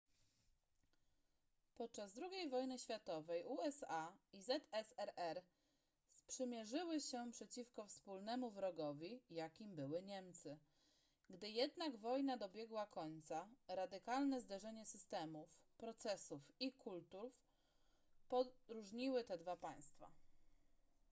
podczas ii wojny światowej usa i zsrr sprzymierzyły się przeciwko wspólnemu wrogowi jakim były niemcy gdy jednak wojna dobiegła końca radykalne zderzenie systemów procesów i kultur poróżniły te dwa państwa